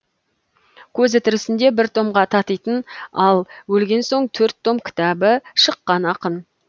көзі тірісінде бір томға татитын ал өлген соң төрт том кітабы шыққан ақын